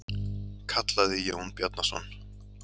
kallaði Jón Bjarnason.